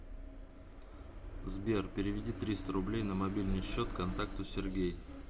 сбер переведи триста рублей на мобильный счет контакту сергей